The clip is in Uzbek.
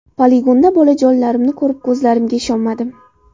Poligonda bolajonlarimni ko‘rib ko‘zlarimga ishonmadim.